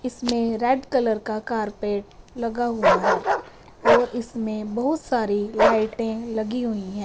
इसमें red colour का carpet लगा हुआ है और इसमें बहुत सारी लाइटें लगी हुई हैं।